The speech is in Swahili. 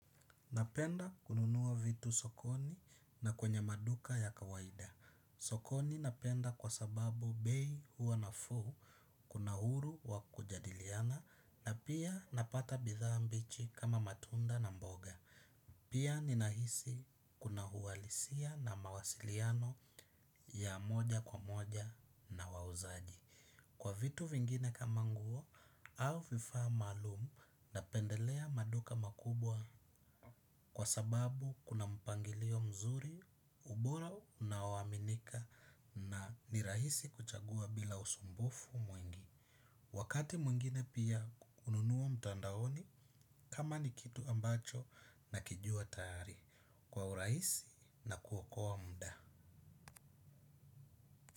Napenda kununua vitu sokoni na kwenye maduka ya kawaida. Sokoni napenda kwa sababu bei huwa nafuu kuna huru wa kujadiliana na pia napata bidhaa mbichi kama matunda na mboga. Pia ninahisi kuna uhalisia na mawasiliano ya moja kwa moja na wauzaji. Kwa vitu vingine kama nguo au vifaa maalum napendelea maduka makubwa kwa sababu kuna mpangilio mzuri, ubora unaoaminika na ni rahisi kuchagua bila usumbufu mwingi. Wakati mwingine pia hununua mtandaoni kama ni kitu ambacho nakijua tayari kwa urahisi na kuokoa mda.